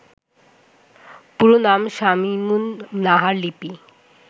পুরো নাম শামীমুন নাহার লিপি